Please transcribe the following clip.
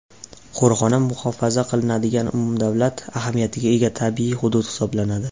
Qo‘riqxona muhofaza qilinadigan umumdavlat ahamiyatiga ega tabiiy hudud hisoblanadi.